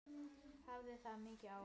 Hafði það mikil áhrif?